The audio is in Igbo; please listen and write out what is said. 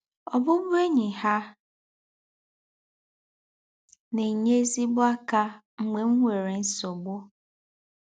Ọ̀bụ̀bụ̀én̄yi hà na-ènye ézígbò ákà mgbè m nwèrè nsọ̀gbù